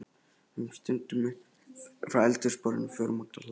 Við stöndum upp frá eldhúsborðinu og förum út á hlað.